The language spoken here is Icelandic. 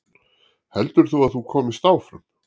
Heldur þú að þú komist áfram?